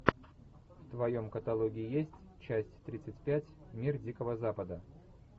в твоем каталоге есть часть тридцать пять мир дикого запада